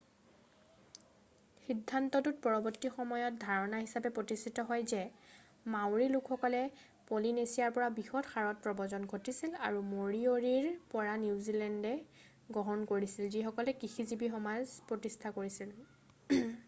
সিদ্ধান্তটো পৰবৰ্তী সময়ত ধাৰণা হিচাপে প্ৰতিষ্ঠিত হয় যে মাউৰী লোকসকল পলিনেচিয়াৰ পৰা বৃহৎ হাৰত প্ৰব্ৰজন ঘটিছিল আৰু মৰিয়ৰিৰ পৰা নিউজিলেণ্ডে গ্ৰহণ কৰিছিল যিসকলে কৃষিজীৱি সমাজ প্ৰতিষ্ঠা কৰিছিল